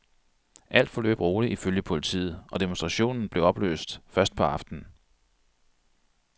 Alt forløb roligt ifølge politiet, og demonstrationen blev opløst først på aftenen.